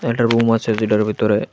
একটা রুম আছে যেডার ভিতরে--